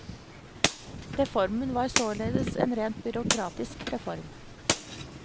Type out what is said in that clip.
Reformen var således en rent byråkratisk reform.